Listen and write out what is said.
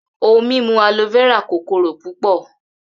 Ohun mimu Aloe vera kokoro pupọ.